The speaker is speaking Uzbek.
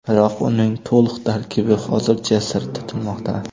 Biroq uning to‘liq tarkibi hozircha sir tutilmoqda.